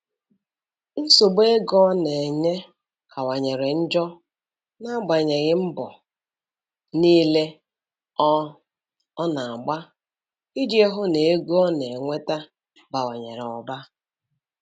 Nsogbu ego ọ na-enwe kawanyere njọ n'agbanyeghị mbọ niile ọ ọ na-agba iji hụ na ego ọ na-enweta bawanyere ụba.